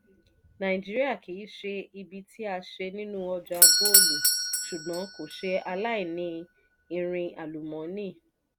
nàìjíríà kii ṣe ibi tí a ṣe nínú ọjà góòlù ṣùgbọ́n kò ṣe aláìní irin àlùmọ́nì.